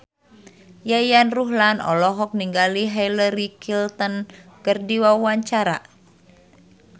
Yayan Ruhlan olohok ningali Hillary Clinton keur diwawancara